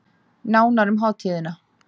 Nánar um hátíðina